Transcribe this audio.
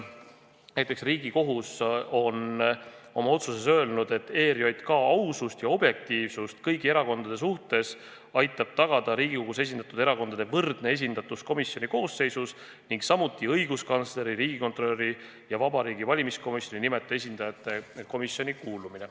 Ja Riigikohus on oma otsuses öelnud, et ERJK ausust ja objektiivsust kõigi erakondade suhtes aitab tagada Riigikogus esindatud erakondade võrdne esindatus komisjoni koosseisus ning samuti õiguskantsleri, riigikontrolöri ja Vabariigi Valimiskomisjoni nimetatud esindajate kuulumine komisjoni.